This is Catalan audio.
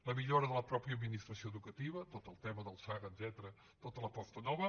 la millora de la pròpia administració educativa tot el tema del saga etcètera tota l’aposta nova